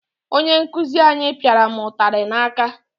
Onye nkuzi anyị pịara mụ ụtarị n'aka.